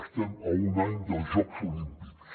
estem a un any dels jocs olímpics